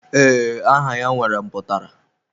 Ee, aha ya nwere mputara.